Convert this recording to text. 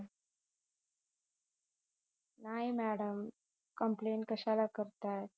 नाही madam complaint कश्याला करताय